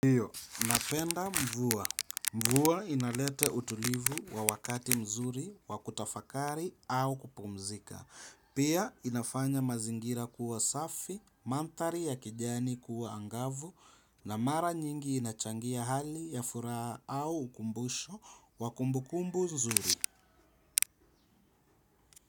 Hiyo, napenda mvua. Mvua inalete utulivu wa wakati mzuri, wa kutafakari, au kupumzika. Pia inafanya mazingira kuwa safi, manthari ya kijani kuwa angavu, na mara nyingi inachangia hali ya furaha au ukumbusho, wa kumbukumbu zuri.